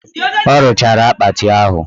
Ọ rụchara akpati ahụ